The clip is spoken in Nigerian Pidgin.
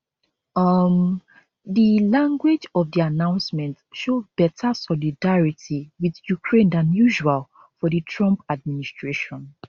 um di language of di announcement show beta solidarity with ukraine dan usual for di trump administration